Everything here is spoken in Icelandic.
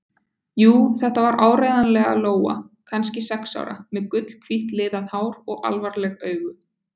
Jú, þetta var áreiðanlega Lóa, kannski sex ára, með gulhvítt liðað hár og alvarleg augu.